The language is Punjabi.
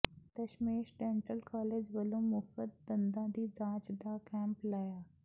ਦਸਮੇਸ਼ ਡੈਂਟਲ ਕਾਲਜ ਵੱਲੋਂ ਮੁਫ਼ਤ ਦੰਦਾਂ ਦੀ ਜਾਂਚ ਦਾ ਕੈਂਪ ਲਾਇਆ